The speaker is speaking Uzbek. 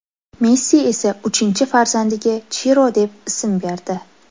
Messi esa uchinchi farzandiga Chiro deb ism berdi.